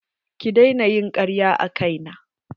Ki daina ƴin karya a kai na.